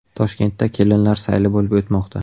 Toshkentda kelinlar sayli bo‘lib o‘tmoqda .